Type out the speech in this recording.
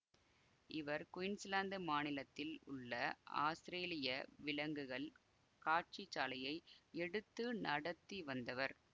இவர் குயீன்ஸ்லாந்து மாநிலத்தில் உள்ள ஆஸ்திரேலிய விலங்குகள் காட்சிச்சாலையை எடுத்து நடத்தி வந்தவர்